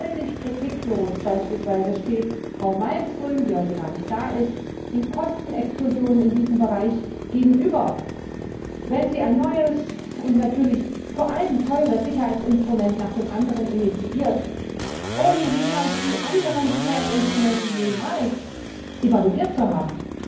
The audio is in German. Völlig kritiklos beispielsweise steht Frau Malmström, die heute gar nicht da ist, den Kostenexplosionen in diesem Bereich gegenüber, wenn sie ein neues und natürlich vor allem teures Sicherheitsinstrument nach dem anderen initiiert, ohne die anderen Sicherheitsinstrumente jemals evaluiert zu haben,